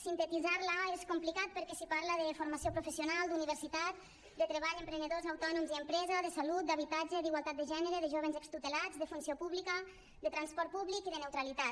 sintetitzar la és complicat perquè s’hi parla de formació professional d’universitat de treball emprenedors autònoms i empresa de salut d’habitatge d’igualtat de gènere de jóvens extutelats de funció pública de transport públic i de neutralitat